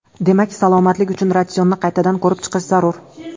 Demak, salomatlik uchun ratsionni qaytadan ko‘rib chiqish zarur.